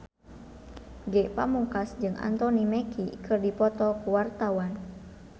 Ge Pamungkas jeung Anthony Mackie keur dipoto ku wartawan